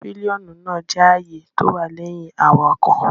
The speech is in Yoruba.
Pílíọ́nù náà jẹ́ àyè tó wà lẹ́yìn awakọ̀